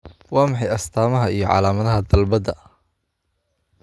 Waa maxay astamaha iyo calaamadaha dalbada?